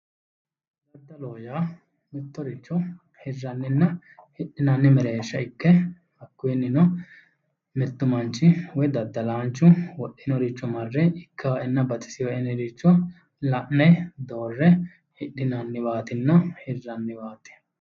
Daddaloho yaa mittoricho hirranniwanna hidhinanniwa mereersha ikke hakiinnino mittu manchi woy daddalaanchu wodhinoricho marre ikka"enna baxiseewoe yinoricho la'ne doorre hidhinanniwaatinna hirranniwaati.